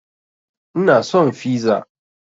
Ina son fiza